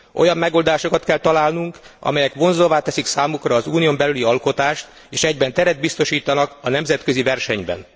Olyan megoldásokat kell találnunk, amelyek vonzóvá teszik számukra az Unión belüli alkotást és egyben teret biztosítanak a nemzetközi versenyben.